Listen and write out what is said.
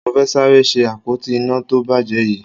Mo fẹ́ sáré ṣe àpótí iná tó bàjẹ́ yìí